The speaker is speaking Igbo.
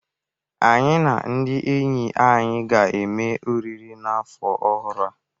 Anyị na ndị enyi anyị ga-eme oriri n'afọ ọhụrụ a.